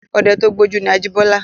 Ọdẹ tó gbójú ni Ajíbọ́lá.